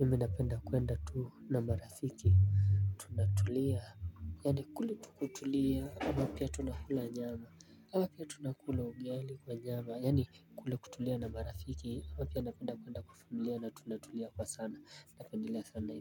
mimi napenda kuenda tuu na marafiki. Tunatulia. Yaani kule tu kutulia na pia tunakula nyama ama pia tunakula ugali kwa nyama yaani kule kutulia na marafiki na pia napenda kuenda kwa familia na tunatulia kwa sana napendelea sana.